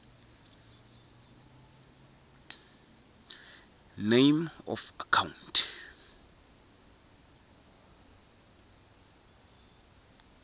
name of account